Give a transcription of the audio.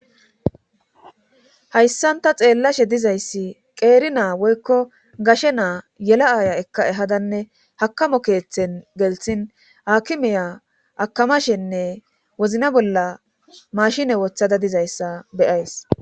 hayssanta xeellashe dizayssi qeeri naa woykko gashe naa yela7aya ekka ehadanne hakamo keeththen gelthin akimeya akamashenne wozna bolla mashine wothada dizayssa beyays